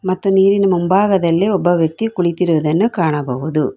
ಮತ್ತು ನೀರಿನ ಮುಂಭಾಗದಲ್ಲಿ ಒಬ್ಬ ವ್ಯಕ್ತಿ ಕುಳಿತಿರುವುದನ್ನು ಕಾಣಬಹುದು.